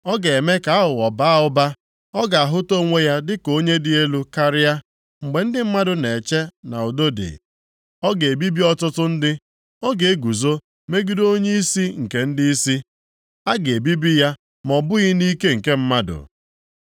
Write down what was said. Ọ ga-eme ka aghụghọ baa ụba, ọ ga-ahụta onwe ya dịka onye dị elu karịa, mgbe ndị mmadụ na-eche na udo dị, ọ ga-ebibi ọtụtụ ndị. Ọ ga-eguzo megide Onyeisi nke ndịisi, a ga-ebibi ya ma ọ bụghị nʼike nke mmadụ.